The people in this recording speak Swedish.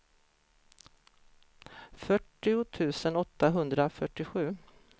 fyrtio tusen åttahundrafyrtiosju